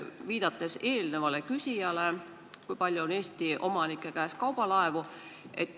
Viitan ka eelnevale küsijale, kes ütles, kui palju on Eesti omanike käes kaubalaevu.